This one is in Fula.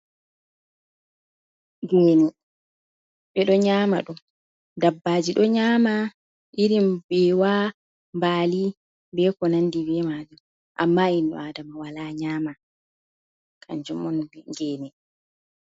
Geene ɓe ɗo nyama ɗum, dabbaji ɗo nyama irin mbewa, mbali, be ko nandi be majum amma inno aadama wala nyama kanjum on geene.